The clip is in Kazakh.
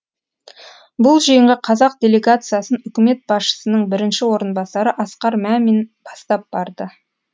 бұл жиынға қазақ делегациясын үкімет басшысының бірінші орынбасары асқар мәмин бастап барды